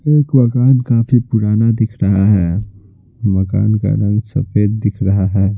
एक मकान काफी पुराना दिख रहा है मकान का रंग सफेद दिख रहा है।